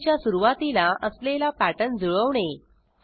फाईलच्या सुरवातीला असलेला पॅटर्न जुळवणे